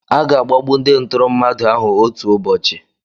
Aga-agbagbu ndị ntụrụ mmadụ ahụ otu ụbọchị.